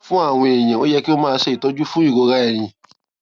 fún àwọn èèyàn ó yẹ kí wón máa ṣe ìtọjú fún ìrora ẹyìn